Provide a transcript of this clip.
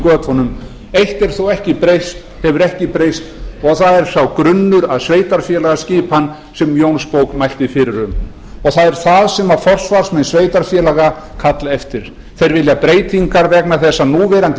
götunum eitt hefur þó ekki breyst og það er sá grunnur að sveitarfélagaskipan sem jónsbók mælti fyrir um það er það sem forsvarsmenn sveitarfélaga kalla eftir þeir vilja breytingar vegna þess að núverandi